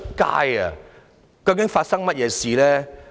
"究竟發生了甚麼事？